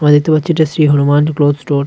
আমরা দেখতে পাচ্ছি এটা শ্রী হনুমান ক্লোথ স্টোর .